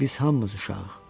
Biz hamımız uşağıq.